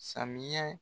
Samiya